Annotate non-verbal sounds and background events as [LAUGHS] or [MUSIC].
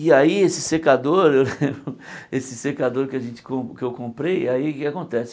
E aí esse secador, [LAUGHS] esse secador que a gente com que eu comprei, aí o que é que acontece?